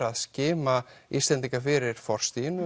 að skima Íslendinga fyrir